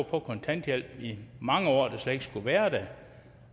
på kontanthjælp i mange år der slet ikke skulle have været det